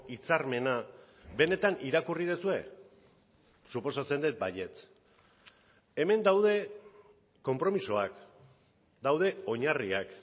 hitzarmena benetan irakurri duzue suposatzen dut baietz hemen daude konpromisoak daude oinarriak